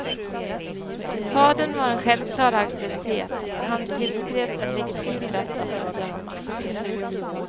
Fadern var en självklar auktoritet, han tillskrevs en legitim rätt att utöva makt.